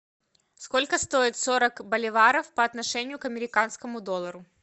сколько стоит сорок боливаров по отношению к американскому доллару